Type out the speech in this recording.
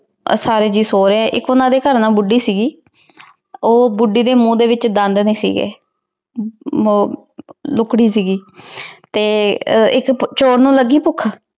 ਆ ਸਾਰੇ ਜੀ ਸੋਆਯ ਏਇਕ ਓਹਨਾਂ ਦੇ ਘਰ ਨਾ ਬੁਧਿ ਸੀਗੀ ਊ ਬੁਧਿ ਦੀ ਮੁਹ ਦੇ ਵਿਚ ਦੰਡ ਨਹੀ ਸੀਗੇ ਊ ਸੀਗੀ ਤੇ ਏਇਕ ਚੋਰ ਨੂ ਲਾਗੀ ਪੁਖ਼